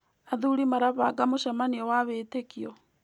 Athuri marabanga mũcemanio wa wĩtĩkio.